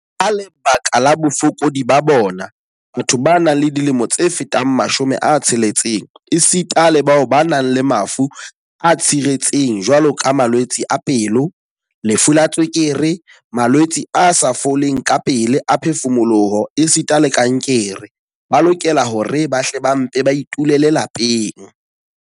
Ka lebaka la bofokodi ba bona, batho ba nang le dilemo tse fetang 60 esita le bao ba nang le mafu a tshiretseng jwaloka malwetse a pelo, lefu la tswekere, malwetse a sa foleng kapele a phefumoloho esita le kankere, ba lokela hore ba hle ba mpe ba itulele lapeng.